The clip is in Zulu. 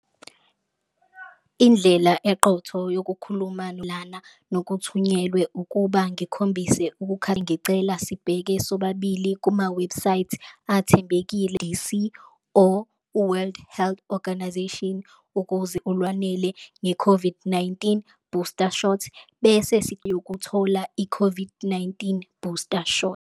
Indlela eqotho yokukhuluma lana nokuthunyelwe ukuba ngikhombise ngicela sibheke sobabili kumawebhusayithi athembekile or u-World Health Organization, ukuze olwanele nge-COVID-19 booster shot bese yokuthola i-COVID-19 booster shot.